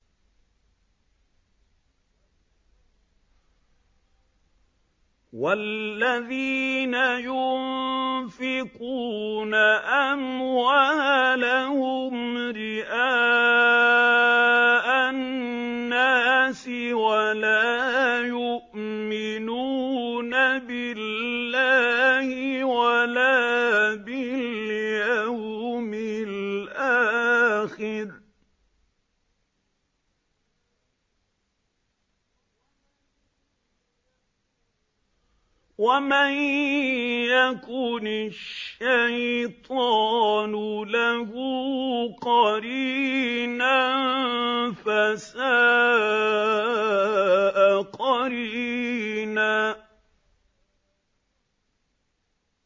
وَالَّذِينَ يُنفِقُونَ أَمْوَالَهُمْ رِئَاءَ النَّاسِ وَلَا يُؤْمِنُونَ بِاللَّهِ وَلَا بِالْيَوْمِ الْآخِرِ ۗ وَمَن يَكُنِ الشَّيْطَانُ لَهُ قَرِينًا فَسَاءَ قَرِينًا